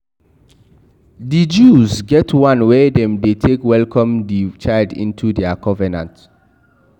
Di jews get the one wey dem de take welcome the child into their covenant